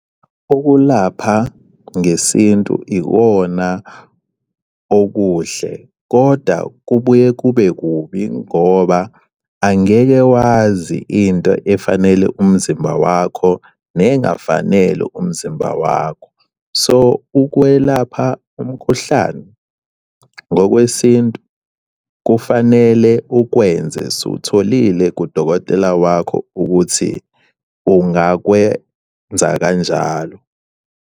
Ukulapha ngesintu ikona okuhle koda kubuye kube kubi ngoba angeke wazi into efanele umzimba wakho, nengafanele umzimba wakho. So, ukwelapha umkhuhlane ngokwesintu kufanele ukwenze usutholile kudokotela wakho ukuthi ungakwenza kanjalo.